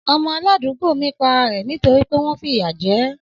Ọmọ aládùúgbò mi pa ara rẹ̀ nítorí pé wọ́n ń fìyà jẹ ẹ́